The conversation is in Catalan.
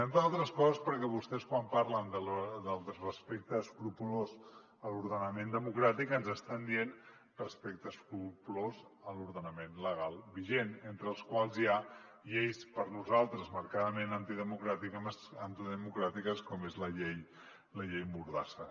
entre altres coses perquè vostès quan parlen del respecte escrupolós a l’ordenament democràtic ens estan dient respecte escrupolós a l’ordenament legal vigent entre els quals hi ha lleis per a nosaltres marcadament antidemocràtiques com és la llei mordassa